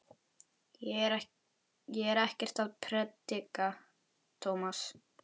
Ég er ekkert að predika, Tómas.